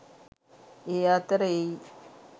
ඒ අතර එයි.